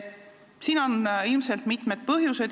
Sellel on ilmselt mitu põhjust.